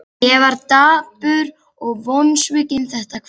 Ég var dapur og vonsvikinn þetta kvöld.